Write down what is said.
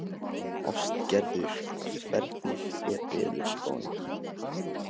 Ástgerður, hvernig er veðurspáin?